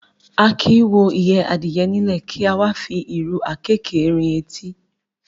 A kì í wo ìyẹ́ adìyẹ nílẹ̀, kí a wá fi ìrù àkéékèé rin etí.